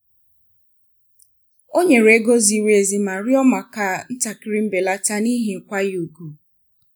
ọ nyere ego ziri ezi ma rịọ maka ntakịrị mbelata n’ihi nkwanye ùgwù.